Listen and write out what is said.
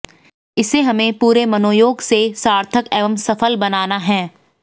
इसे हमें पूरे मनोयोग से सार्थक एवं सफल बनाना है